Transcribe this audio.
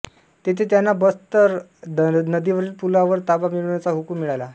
तेथे त्यांना बसंतर नदीवरील पूलावर ताबा मिळविण्याचा हुकुम मिळाला